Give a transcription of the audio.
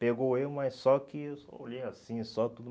Pegou eu, mas só que eu só olhei assim, só tudo.